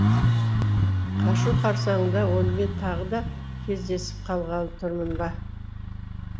қашу қарсаңында онымен тағы да кездесіп қалғалы тұрмын ба